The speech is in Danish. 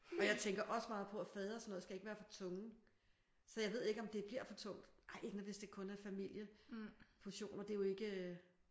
Og jeg tænker også meget på at fade og sådan noget skal ikke være for tunge så jeg ved ikke om det bliver for tungt. Ej ikke når hvis det kun er familieportioner det er jo ikke øh